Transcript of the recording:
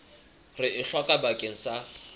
re e hlokang bakeng sa